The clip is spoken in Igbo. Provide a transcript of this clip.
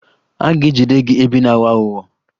A ga-ejide gị ebe ị na-aghọ aghụghọ